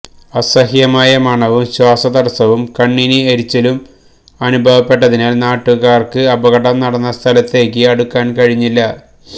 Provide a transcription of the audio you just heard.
അസഹ്യമായ മണവും ശ്വാസതടസ്സവും കണ്ണിന് എരിച്ചിലും അനുഭവപ്പെട്ടതിനാല് നാട്ടുകാര്ക്ക് അപകടം നടന്ന സ്ഥലത്തേക്ക് അടുക്കാന് കഴിഞ്ഞില്ല